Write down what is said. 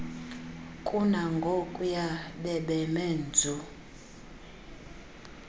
kunangokuya bebeme nzu